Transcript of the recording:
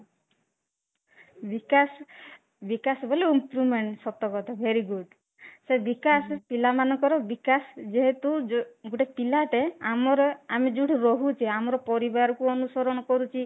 ବିକାଶ ବିକାଶ ବୋଲେ improvement ସତ କଥା very good ସେ ବିକାଶ ପିଲାମାନଙ୍କର ବିକାଶ ଯେହେତୁ ଗୋଟେ ପିଲାଟେ ଆମର ଆମେ ଯୋଉଠି ରହୁଛେ ଆମର ପରିବାର କୁ ଅନୁସରଣ କରୁଛି